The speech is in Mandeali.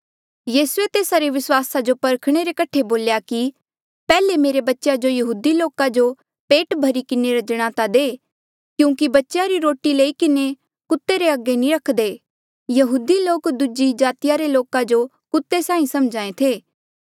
यीसूए तेस्सा रे विस्वासा जो परखणे रे कठे बोल्या कि पैहले मेरे बच्चेया जो यहूदी लोका जो पेट भरी किन्हें रजणे ता दे क्यूंकि बच्चेया री रोटी लई किन्हें कुत्ते रे अगे नी रखदे यहूदी लोक दूजी जातिया रे लोका जो कुत्ते साहीं समझ्हा ऐें थे